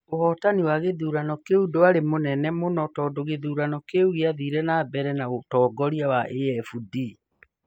Ũhootani wa gĩthurano kĩu ndwarĩ mũnene mũno tondũ gĩthurano kĩu gĩathire na mbere na ũtongoria wa AfD.